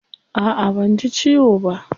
A'a banji ciwo ba.